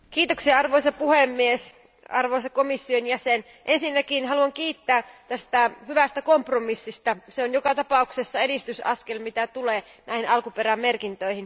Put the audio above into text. Arvoisa puhemies, arvoisa komission jäsen, ensinnäkin haluan kiittää tästä hyvästä kompromissista, se on joka tapauksessa edistysaskel, mitä tulee näihin alkuperämerkintöihin.